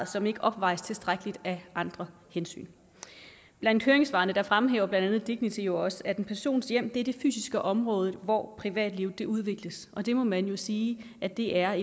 som ikke opvejes tilstrækkeligt af andre hensyn blandt høringssvarene fremhæver blandt andet dignity jo også at en persons hjem er det fysiske område hvor privatlivet udvikles og det må man jo sige at det er